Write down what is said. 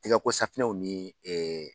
Tigɛko safunɛw ni